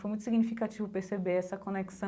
Foi muito significativo perceber essa conexão